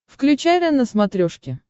включай рен на смотрешке